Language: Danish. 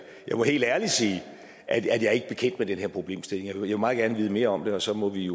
jeg må helt ærligt sige at jeg ikke er bekendt med den her problemstilling jeg vil meget gerne vide mere om den og så må vi